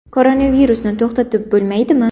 Koronavirusni to‘xtatib bo‘lmaydimi?